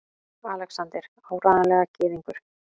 ALEXANDER: Áreiðanlega gyðingur!